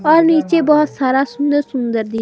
और नीचे बहोत सारा सुंदर सुंदर दी--